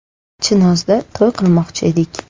Chinozda to‘y qilmoqchi edik.